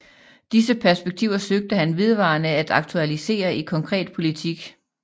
Disse perspektiver søgte han vedvarende at aktualisere i konkret politik